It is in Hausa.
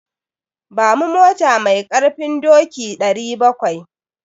Ba mu mota mai ƙarfin doki 700.